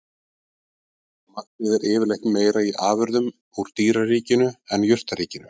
Magnið er yfirleitt meira í afurðum úr dýraríkinu en jurtaríkinu.